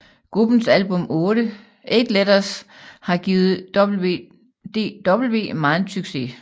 Gruppens album 8 letters har givet WDW megen succes